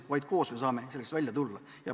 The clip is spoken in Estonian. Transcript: Nagu ma ütlesin, saame sellest välja tulla vaid koos.